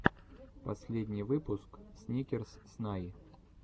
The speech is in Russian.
последний выпуск сникерс снай